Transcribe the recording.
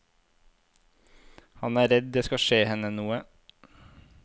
Han er redd det skal skje henne noe.